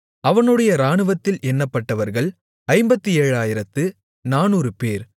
அவனுடைய இராணுவத்தில் எண்ணப்பட்டவர்கள் 57400 பேர்